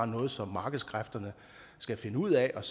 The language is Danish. noget som markedskræfterne skal finde ud af og